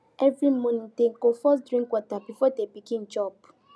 every morning dem go first drink water before dem begin chop